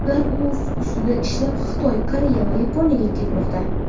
Ular o‘z ustida ishlab, Xitoy, Koreya va Yaponiyaga ketmoqda.